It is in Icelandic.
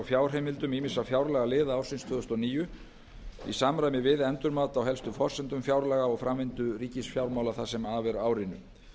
fjárheimildum ýmissa fjárlagaliða ársins tvö þúsund og níu í samræmi við endurmat á helstu forsendum fjárlaga og framvindu ríkisfjármálanna það sem af er árinu